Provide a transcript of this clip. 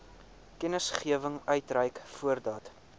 kennisgewing uitreik voordat